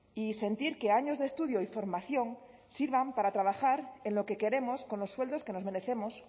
y sentir que años de estudio y formación sirvan para trabajar en lo que queremos con los sueldos que nos merecemos